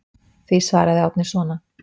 Því svaraði Árni svona.